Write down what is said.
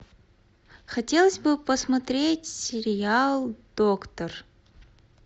хотелось бы посмотреть сериал доктор